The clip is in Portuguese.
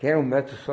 Que era um metro só.